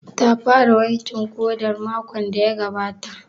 Ta fara wankin ƙodan makon da ya gabata?